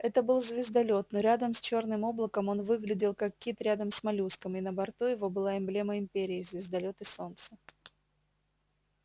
это был звездолёт но рядом с чёрным облаком он выглядел как кит рядом с моллюском и на борту его была эмблема империи звездолёт и солнце